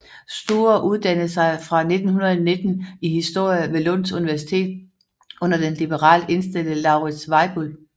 Sture uddannede sig fra 1919 i historie ved Lunds universitet under den liberalt indstillede Lauritz Weibull